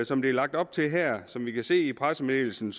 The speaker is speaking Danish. som det er lagt op til her som vi kan se i pressemeddelelsen